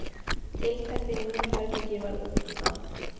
Tiltektin í mínu herbergi varð útundan.